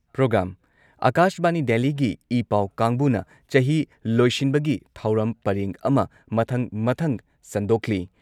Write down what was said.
programme ꯑꯥꯀꯥꯁꯕꯥꯅꯤ ꯗꯦꯜꯂꯤꯒꯤ ꯏꯄꯥꯎ ꯀꯥꯡꯕꯨꯅ ꯆꯍꯤ ꯂꯣꯏꯁꯤꯟꯕꯒꯤ ꯊꯧꯔꯝ ꯄꯔꯦꯡ ꯑꯃ ꯃꯊꯪ ꯃꯊꯪ ꯁꯟꯗꯣꯛꯂꯤ